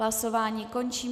Hlasování končím.